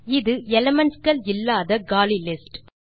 இது எலிமெண்ட் கள் இல்லாத காலி லிஸ்ட்